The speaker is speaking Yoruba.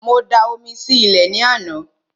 Mo da omi sí ilẹ̀ ní àná